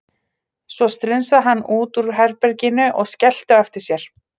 Svo strunsaði hann út úr herbeginu og skellti á eftir sér.